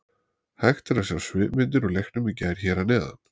Hægt er að sjá svipmyndir úr leiknum í gær hér að neðan.